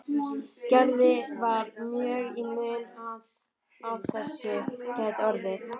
Gerði var mjög í mun að af þessu gæti orðið.